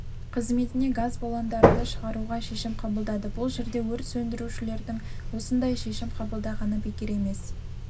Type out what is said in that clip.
қызметіне газ баллондарды шығаруға шешім қабылдады бұл жерде өрт сөндірушілердің осындай шешім қабылдағаны бекер емес